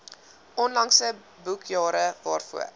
onlangse boekjare waarvoor